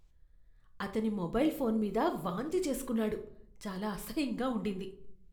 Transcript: అతని mobile phone మీద వాంతి చేసుకున్నాడు. చాలా అసహ్యంగా ఉండింది.